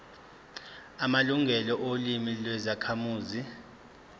amalungelo olimi lwezakhamuzi